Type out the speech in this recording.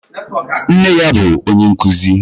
Nne ya bụ onye nkuzi.